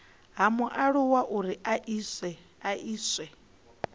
ha mualuwa uri a iswe